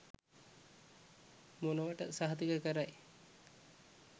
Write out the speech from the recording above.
මොනවට සහතික කරයි.